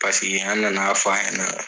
Pasiki an na na fɔ ɲɛna.